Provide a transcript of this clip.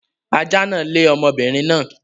Ajá náà lé ọmọbinrin náà